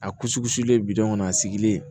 A kusikusilen kɔnɔ a sigilen